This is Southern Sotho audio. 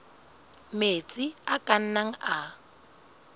metsi a ka nnang a